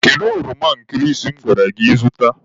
Kedu ọroma nkịrịsị m gwara gị zụta?